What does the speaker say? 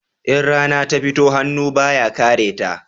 In rana ta fito, hannu ba ya kare ta